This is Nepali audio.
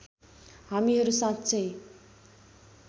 हामीहरू साँच्चै